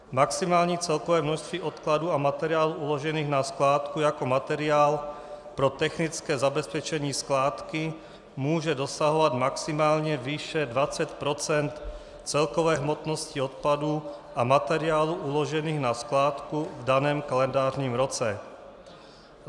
Maximální celkové množství odpadů a materiálů uložených na skládku jako materiál pro technické zabezpečení skládky může dosahovat maximálně výše 20 % celkové hmotnosti odpadů a materiálů uložených na skládku v daném kalendářním roce.